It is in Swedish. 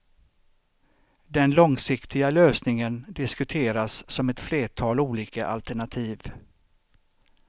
Den långsiktiga lösningen diskuteras som ett flertal olika alternativ.